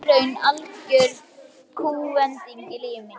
Þá varð í raun algjör kúvending á lífi mínu.